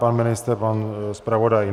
Pan ministr, pan zpravodaj?